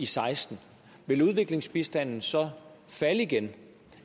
seksten vil udviklingsbistanden så falde igen